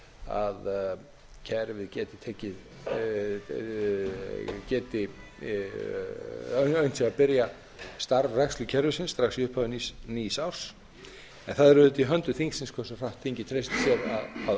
að unnt sé að byrja starfrækslu kerfisins strax í upphafi nýs árs en það er auðvitað í höndum þingsins hversu hratt þingið treystir sér að